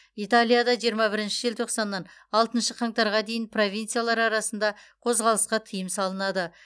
италияда жиырма бірінші желтоқсаннан алтыншы қаңтарға дейін провинциялар арасында қозғалысқа тыйым салынады